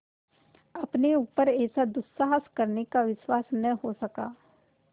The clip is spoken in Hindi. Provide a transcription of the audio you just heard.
अपने ऊपर ऐसा दुस्साहस कर सकने का विश्वास न हो सका